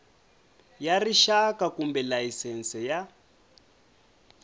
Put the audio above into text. ya rixaka kumbe layisense ya